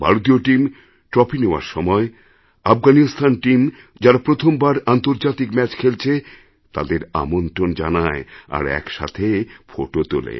ভারতীয় team trophy নেওয়ার সময় আফগানিস্তান টিম যাঁরা প্রথমবার আন্তর্জাতিক ম্যাচ খেলছে তাদের আমন্ত্রণ জানায় আর একসাথে ফোটো তোলে